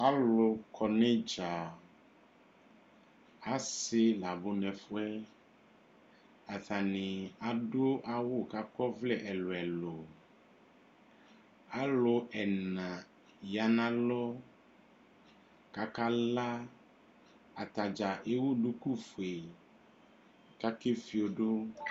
Alʊ kɔ nu idzǝ Asi labʊ nʊ ɛfʊyɛ Atani adʊ awʊ kakɔ ɔvlɛ ɛlʊɛlʊ Alʊ ɛna ya nʊ alɔ kʊ akala Atadza ewu dukufoe kʊ akefiodu